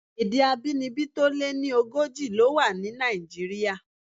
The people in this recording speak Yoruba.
Èdè abínibí tó lé ní ogójì ló wà ní Nàìjíríà.